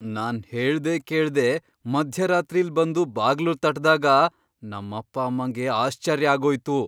ನಾನ್ ಹೇಳ್ದೆ ಕೇಳ್ದೆ ಮಧ್ಯರಾತ್ರಿಲ್ ಬಂದು ಬಾಗ್ಲು ತಟ್ದಾಗ ನಮ್ಮಪ್ಪ ಅಮ್ಮಂಗೆ ಆಶ್ಚರ್ಯ ಆಗೋಯ್ತು.